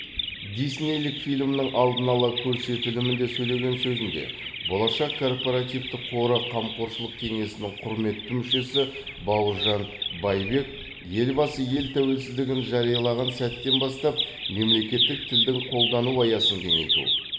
диснейлік фильмнің алдын ала көрсетілімінде сөйлеген сөзінде болашақ корпоративтік қоры қамқоршылық кеңесінің құрметті мүшесі бауыржан байбек елбасы ел тәуелсіздігін жариялаған сәттен бастап мемлекеттік тілдің қолдану аясын кеңейту